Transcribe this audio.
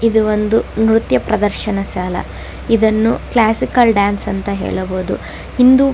ಇದು ಒಂದು ನ್ರತ್ಯ ಪ್ರದರ್ಶನ ಶಾಲಾ ಇದನ್ನು ಕ್ಲಾಸಿಕಲ್ ಡಾನ್ಸ್ ಅಂತಾನೂ ಹೇಳಬಹುದು ಇಂದು--